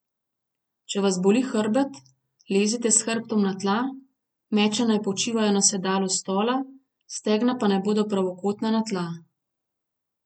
Če vas boli hrbet, lezite s hrbtom na tla, meča naj počivajo na sedalu stola, stegna pa naj bodo pravokotna na tla.